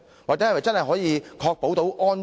是否足以確保安全？